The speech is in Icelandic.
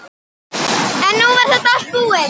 En nú var þetta allt búið.